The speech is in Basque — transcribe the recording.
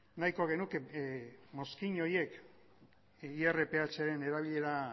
nahiko genuke mozkin horiek irpharen erabilera